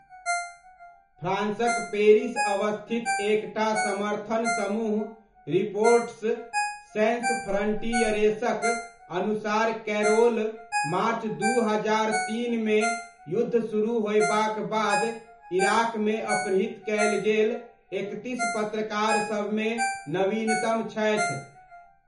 फ्रांसक Paris अवस्थित एक टा समर्थन समूह रिपोर्टर्स सैन्स फ्रण्टियरेसक अनुसार कैरोल मार्च दू हजार तीनमे युद्ध सुरुह होयबाक बाद इराकमे अपहृत कयल गेल एकतीस पत्रकारसबमे नवीनतम छथि।